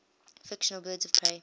fictional birds of prey